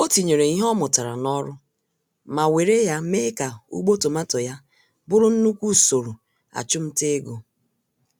Otinyere ìhè ọ mụtara n'ọrụ, ma wéré ya mee ka ugbo tomato ya bụrụ nnukwu usoro achumtaego.